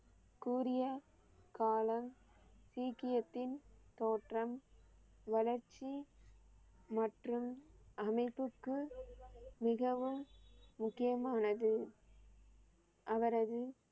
கூரிய காலம் சீக்கியத்தின் தோற்றம், வளர்ச்சி மற்றும் அமைப்புக்கு மிகவும் முக்கியமானது. அவரது